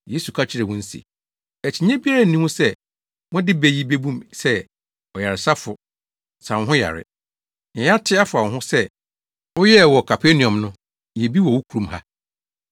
Yesu ka kyerɛɛ wɔn se, “Akyinnye biara nni ho sɛ mode bɛ yi bebu me sɛ, ‘Ɔyaresafo, sa wo ho yare. Nea yɛate afa wo ho sɛ woyɛɛ wɔ Kapernaum no, yɛ bi wɔ wo kurom ha.’